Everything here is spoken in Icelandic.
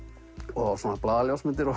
og svona